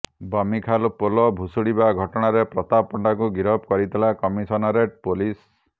ବମିଖାଲ ପୋଲ ଭୁଶୁଡିବା ଘଟଣାରେ ପ୍ରତାପ ପଣ୍ଡାଙ୍କୁ ଗିରଫ କରିଥିଲା କମିଶନରେଟ ପୋଲିସ